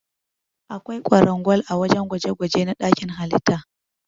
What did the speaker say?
Akwai kwarangwal ã wajen gwaje-gwaje na dakin halitta.